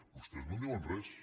vostès no en diuen res